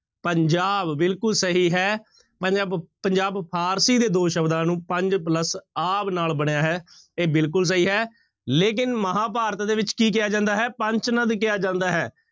ਪੰਜਾਬ ਬਿਲਕੁਲ ਸਹੀ ਹੈ ਪੰਜਾਬ, ਪੰਜਾਬ ਫ਼ਾਰਸੀ ਦੇ ਦੋ ਸ਼ਬਦਾਂ ਨੂੰ ਪੰਜ plus ਆਬ ਨਾਲ ਬਣਿਆ ਹੈ ਇਹ ਬਿਲਕੁਲ ਸਹੀ ਲੇਕਿੰਨ ਮਹਾਂਭਾਰਤ ਦੇ ਵਿੱਚ ਕੀ ਕਿਹਾ ਜਾਂਦਾ ਹੈ ਪੰਚ ਨਦ ਕਿਹਾ ਜਾਂਦਾ ਹੈ।